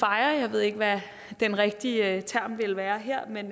jeg ved ikke hvad den rigtige term ville være her men